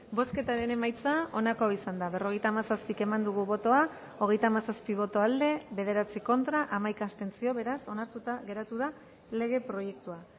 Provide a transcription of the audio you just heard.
bozketaren emaitza onako izan da berrogeita hamazazpi eman dugu bozka hogeita hamazazpi boto aldekoa bederatzi contra hamaika abstentzio beraz onartuta geratu da lege proiektua